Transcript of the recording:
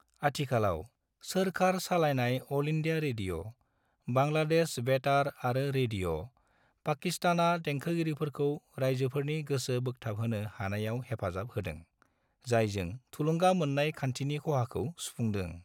आथिखालाव, सोरखार सालायनाय अल इंडिया रेडिअ', बांलादेश बेतार आरो रेडिअ' पाकिस्तानआ देंखोगिरिफोरखौ रायजोफोरनि गोसो बोखथाबहोनो हानायाव हेफाजाब होदों, जायजों थुलुंगा मोननाय खान्थिनि खहाखौ सुफुंदों।